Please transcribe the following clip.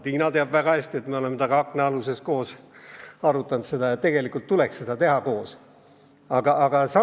Tiina teab väga hästi, et me oleme taga akna all seda koos arutanud ja arvame, et neid tuleks koos analüüsida.